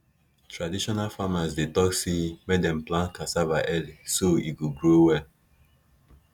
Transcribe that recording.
traditional farmers dey talk say make dem plant cassava early so e go grow well